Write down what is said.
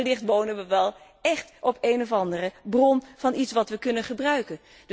Maar wellicht wonen we wel écht op een of andere bron van iets wat we kunnen gebruiken.